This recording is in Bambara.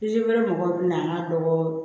wɛrɛ mɔgɔw bɛ na an ka dɔgɔ